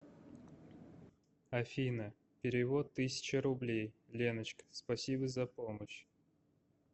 афина перевод тысяча рублей леночка спасибо за помощь